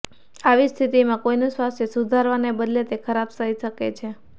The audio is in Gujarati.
આવી સ્થિતિમાં કોઈનું સ્વાસ્થ્ય સુધારવાને બદલે તે ખરાબ થઈ શકે છે